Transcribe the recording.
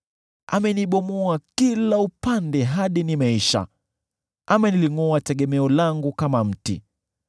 Amenibomoa kila upande hadi nimeisha; amelingʼoa tegemeo langu kama mti.